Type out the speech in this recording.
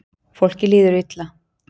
Fólki líður illa